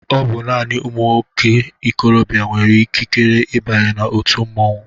Ọbụ naanị ụmụ ikorobia nwere ikikere ịbanye na-otu mmanwụ.